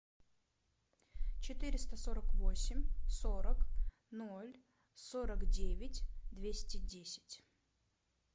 четыреста сорок восемь сорок ноль сорок девять двести десять